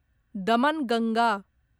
Damanganga